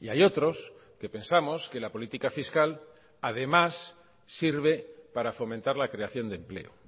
y hay otros que pensamos que la política fiscal además sirve para fomentar la creación de empleo